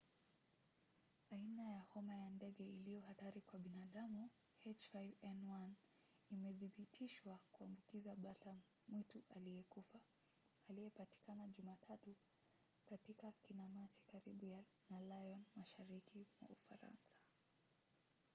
aina ya homa ya ndege iliyo hatari kwa binadamu h5n1 imethibitishwa kuambukiza bata mwitu aliyekufa aliyepatikana jumatatu katika kinamasi karibu na lyon mashariki mwa ufaransa